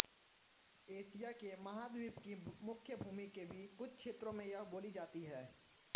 Asia के महाद्वीप की मुख्यभूमि के भी कुछ क्षेत्रों में यह बोली जाती हैं